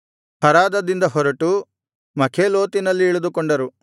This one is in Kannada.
ಹರಾದದಿಂದ ಹೊರಟು ಮಖೇಲೋತಿನಲ್ಲಿ ಇಳಿದುಕೊಂಡರು